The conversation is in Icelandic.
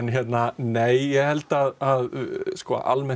nei ég held að almennt